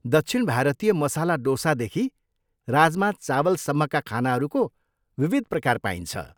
दक्षिण भारतीय मसाला डोसादेखि राजमा चावलसम्मका खानाहरूको विविध प्रकार पाइन्छ।